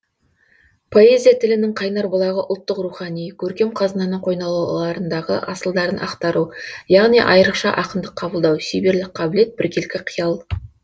поэзия тілінің қайнар бүлағы ұлттық рухани көркем қазынаның койнауларындағы асылдарын ақтару яғни айрықша ақындық қабылдау шеберлік қабілет біркелкі киял